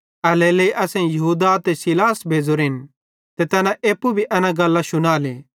एल्हेरेलेइ असेईं यहूदा ते सीलास भेज़ोरेन ते तैना एप्पू भी एना गल्लां शुनाले